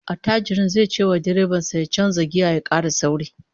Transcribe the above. Attajirin zai cewa direban sa ya canza giya ya kara sauri